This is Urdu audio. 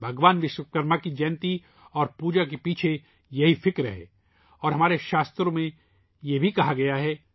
بھگوان وشوکرما کی سالگرہ اور ان کی پوجا کے پیچھے یہی روح ہے اور ہمارے شاستروں میں بھی یہی کہا گیا ہے